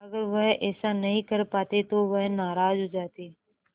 अगर वह ऐसा नहीं कर पाते तो वह नाराज़ हो जाते